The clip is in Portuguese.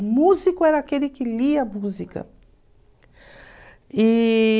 O músico era aquele que lia a música. E...